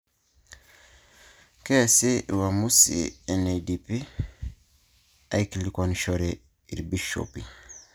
Keesi uamusi enedipi aikilikuanishore irbishopi